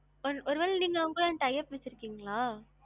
ஒரு ஒருவேலை நீங்க அவங்களோட tie up வச்சுருக்கீங்களா?